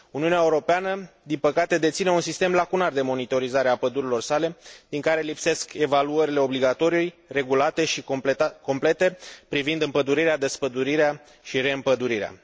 Uniunea Europeană, din păcate, deține un sistem lacunar de monitorizare a pădurilor sale, din care lipsesc evaluările obligatorii, regulate și complete privind împădurirea, despădurirea și reîmpădurirea.